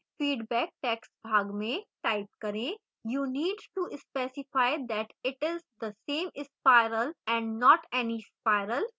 feedback text भाग में type करें you need to specify that its the same spiral and not any spiral